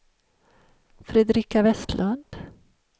Fredrika Westlund